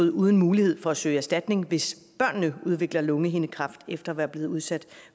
uden mulighed for at søge erstatning hvis de udvikler lungehindekræft efter at være blevet udsat